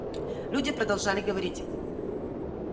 люди продолжали говорить